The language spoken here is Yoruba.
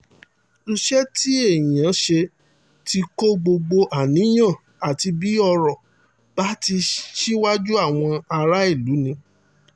iṣẹ́ tí èèyàn í ṣe tí ì kó gbogbo àníyàn àti bí ọ̀rọ̀ bá ti rí síwájú àwọn aráàlú ni